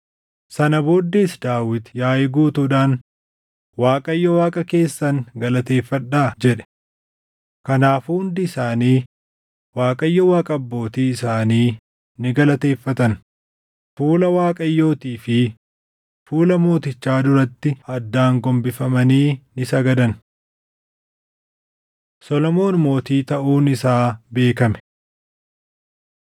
Sana booddees Daawit yaaʼii guutuudhaan, “ Waaqayyo Waaqa keessan galateeffadhaa” jedhe. Kanaafuu hundi isaanii Waaqayyo Waaqa abbootii isaanii ni galateeffatan; fuula Waaqayyootii fi fuula mootichaa duratti addaan gombifamanii ni sagadan. Solomoon Mootii Taʼuun Isaa Beekame 29:21‑25 kwf – 1Mt 1:28‑53